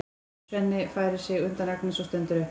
Svenni færir sig undan Agnesi og stendur upp.